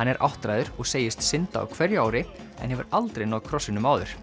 hann er áttræður og segist synda á hverju ári en hefur aldrei náð krossinum áður